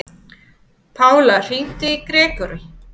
Pála, hringdu í Grégory.